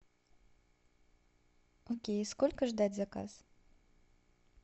окей сколько ждать заказ